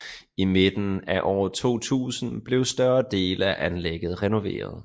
I midten af år 2000 blev større dele af anlægget renoveret